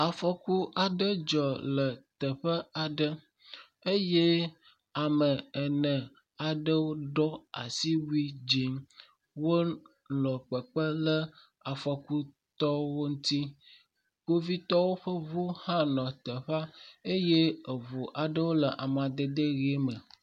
Afɔku aɖe dzɔ le teƒe aɖe eye ame ene aɖewo ɖɔ asiwui dzɛ̃ wonɔ kpekpem le afɔkutɔwo ŋuti. Kpovitɔwo ƒe ŋu hã nɔ teƒea eye ŋu aɖewo le amadede ʋi me.